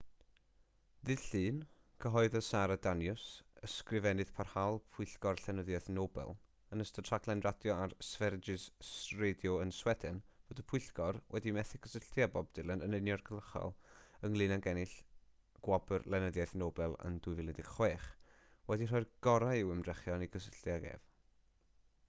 ddydd llun cyhoeddodd sara danius ysgrifennydd parhaol pwyllgor llenyddiaeth nobel yn ystod rhaglen radio ar sveriges radio yn sweden fod y pwyllgor wedi methu cysylltu â bob dylan yn uniongyrchol ynglŷn ag ennill gwobr lenyddiaeth nobel yn 2016 wedi rhoi'r gorau i'w hymdrechion i gysylltu ag ef